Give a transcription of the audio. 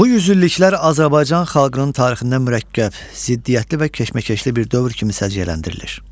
Bu yüzilliklər Azərbaycan xalqının tarixində mürəkkəb, ziddiyyətli və keşməkeşli bir dövr kimi səciyyələndirilir.